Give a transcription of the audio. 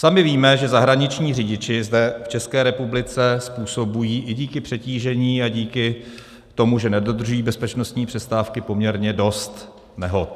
Sami víme, že zahraniční řidiči zde v České republice způsobují i díky přetížení a díky tomu, že nedodržují bezpečnostní přestávky, poměrně dost nehod.